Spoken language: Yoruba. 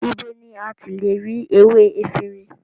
Ibo ni a ti le ra ewé efinrin?